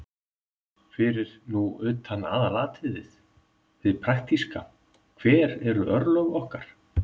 Fyrir nú utan aðalatriðið, hið praktíska: Hver eru örlög okkar?